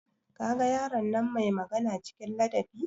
Kaga yaron nan mai magana cikin ladabi?